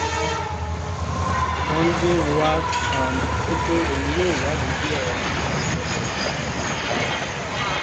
Won di nwa um rí pé òun yóò wádìí bí ọ̀rọ̀ náà ṣe ṣẹlẹ̀ gan-an um